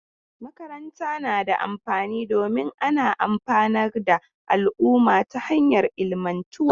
Makaranta na da amfani domin ana amfanar da al'umma ta hanyar ilmantarwa.